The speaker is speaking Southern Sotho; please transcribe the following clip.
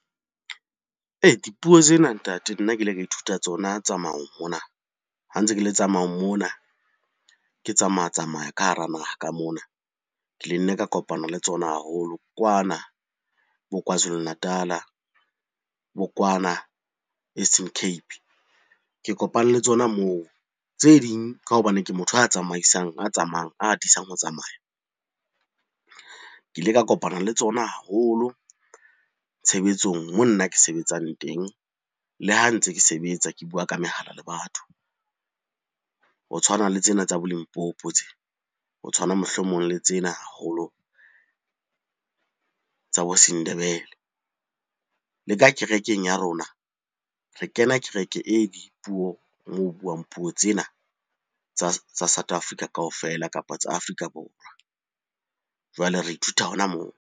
Dipuo tsena ntate nna ke ile ka ithuta tsona tsamaong mona. Ha ntse ke le tsamaong mona, ke tsamaya-tsamaya ka hara naha ka mona. Ke le nna ka kopana le tsona haholo kwana bo Kwazulu Natal-a, bo kwana Eastern Cape, ke kopane le tsona moo. Tse ding ka hobane ke motho a tsamaisang, a tsamayang, a atisang ho tsamaya. Ke ile ka kopana le tsona haholo tshebetsong moo nna ke sebetsang teng, le ha ntse ke sebetsa ke bua ka mehala le batho. Ho tshwana le tsena tsa bo Limpopo tsena, ho tshwana mohlomong le tsena haholo tsa bo Sendebele. Le ka kerekeng ya rona, re kena kereke e dipuo moo ho buang puo tsena tsa South Africa kaofela, kapa tsa Afrika Borwa. Jwale re ithuta hona moo.